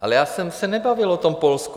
Ale já jsem se nebavil o tom Polsku.